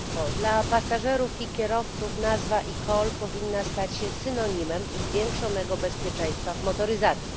Dla pasażerów i kierowców nazwa eCall powinna stać się synonimem zwiększonego bezpieczeństwa w motoryzacji.